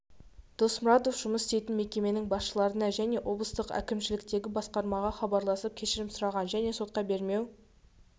досмұратв жұмыс істейтін мекеменің басшыларына және облыстық әкімшіліктегі басқармаға хабарласып кешірім сұраған және сотқа бермеу